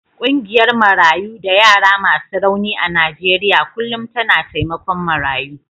Ƙungiyar Marayu da yara masu rauni a Najeriya kullum tana taimakon marayu.